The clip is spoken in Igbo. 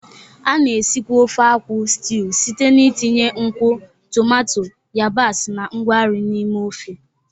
A na-esikwa ofe akwu stiuu site n'itinye nkwụ, tomato, yabasị, na ngwa nri n'ime ofe.